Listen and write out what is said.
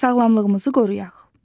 Sağlamlığımızı qoruyaq.